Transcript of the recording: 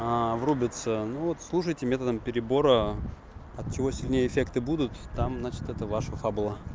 аа врубиться ну вот слушайте методом перебора от чего сильнее эффекты будут там значит это ваша фабула